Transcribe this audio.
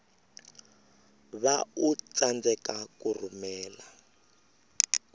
va u tsandzeka ku rhumela